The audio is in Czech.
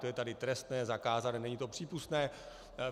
To je tady trestné, zakázané, není to přípustné.